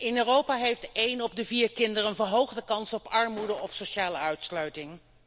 In Europa heeft een op de vier kinderen een verhoogde kans op armoede of sociale uitsluiting.